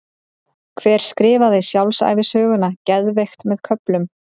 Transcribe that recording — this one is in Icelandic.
Hver skrifaði sjálfsævisöguna Geðveikt með köflum?